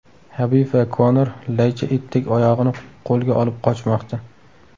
Habib va Konor laycha itdek oyog‘ini qo‘lga olib qochmoqda.